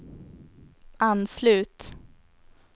anslut